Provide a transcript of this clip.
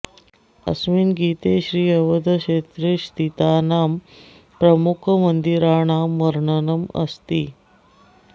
अस्मिन् गीते श्री अवधक्षेत्रे स्थितानां प्रमुख मंदिराणां वर्णनम् अस्ति